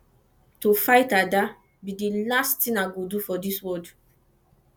to fight ada be the last thing i go fit do for dis world